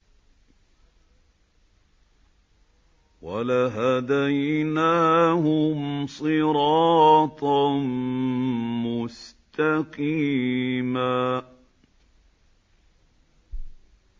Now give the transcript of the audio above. وَلَهَدَيْنَاهُمْ صِرَاطًا مُّسْتَقِيمًا